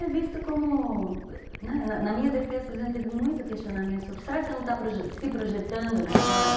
É visto como... Na minha defesa, por exemplo, teve muito questionamento sobre será que você não está se projetando na história?